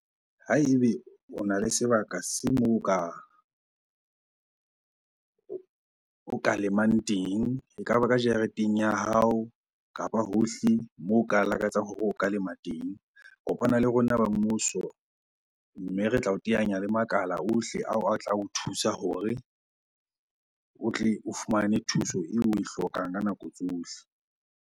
Ha ebe ona le sebaka se moo o ka lemang teng, ekaba ka jareteng ya hao kapa hohle moo o ka lakatsang hore o ka lema teng. Kopana le rona ba mmuso mme re tla o teanyang le makala ohle ao a tla o thusa hore o tle o fumane thuso eo oe hlokang ka nako tsohle.